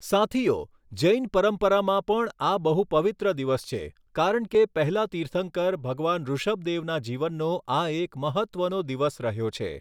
સાથીઓ, જૈન પરંપરામાં પણ આ બહુ પવિત્ર દિવસ છે કારણ કે પહેલા તિર્થંકર ભગવાન ઋષભદેવના જીવનનો આ એક મહત્ત્વનો દિવસ રહ્યો છે.